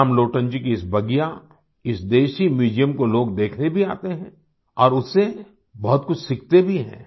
रामलोटन जी की इस बगिया इस देशी म्यूज़ियम को लोग देखने भी आते हैं और उससे बहुत कुछ सीखते भी हैं